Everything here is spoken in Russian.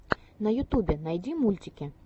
на ютюбе найти мультики